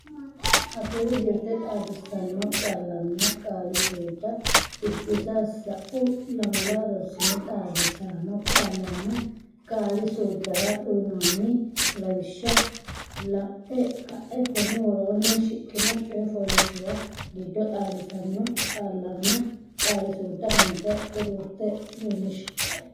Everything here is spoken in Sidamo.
Afuu Jirte Xaadisaano Qaallanna Qaali suudda Biddissa Sa’u lamala rosira xaadisaano qaallanna qaali suuddara uynoonni lawishsha la’e ka’e konni woroonni shiqqino coy fooliishshuwa giddo xaadisaano qaallanna qaali suudda hunda xuruurte leellishi.